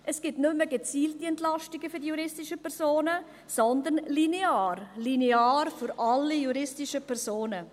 Es gibt keine gezielten Entlastungen mehr für juristische Personen, sondern lineare, linear für alle juristischen Personen.